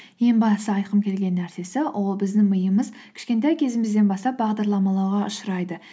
ең бастысы айтқым келген нәрсесі ол біздің миымыз кішкентай кезімізден бастап бағдарламалауға ұшырайды